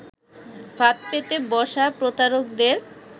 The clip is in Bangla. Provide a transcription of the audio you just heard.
ফাঁদ পেতে বসা প্রতারকদের